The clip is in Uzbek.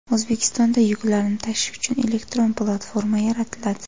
O‘zbekistonda yuklarni tashish uchun elektron platforma yaratiladi.